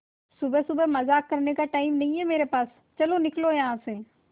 सुबह सुबह मजाक करने का टाइम नहीं है मेरे पास चलो निकलो यहां से